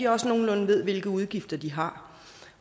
også nogenlunde ved hvilke udgifter de har